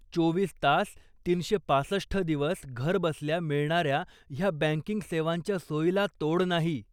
चोवीस तास, तीनशे पासष्ठ दिवस घरबसल्या मिळणाऱ्या ह्या बँकिंग सेवांच्या सोयीला तोड नाही.